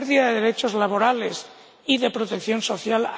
a la pérdida de derechos laborales y de protección social